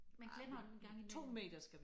Man glemmer den engang imellem